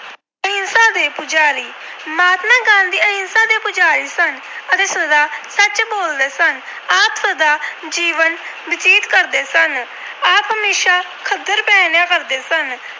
ਅਹਿੰਸਾ ਦੇ ਪੁਜਾਰੀ- ਮਹਾਤਮਾ ਗਾਂਧੀ ਅਹਿੰਸਾ ਦੇ ਪੁਜਾਰੀ ਸਨ ਅਤੇ ਸਦਾ ਸੱਚ ਬੋਲਦੇ ਸਨ। ਆਪ ਸਾਦਾ ਜੀਵਨ ਬਤੀਤ ਕਰਦੇ ਸਨ। ਆਪ ਹਮੇਸ਼ਾ ਖੱਦਰ ਪਹਿਨਣਿਆਂ ਕਰਦੇ ਸਨ।